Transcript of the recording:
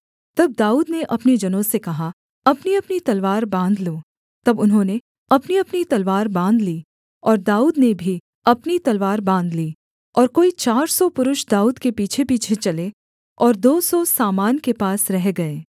तब दाऊद ने अपने जनों से कहा अपनीअपनी तलवार बाँध लो तब उन्होंने अपनीअपनी तलवार बाँध ली और दाऊद ने भी अपनी तलवार बाँध ली और कोई चार सौ पुरुष दाऊद के पीछेपीछे चले और दो सौ सामान के पास रह गए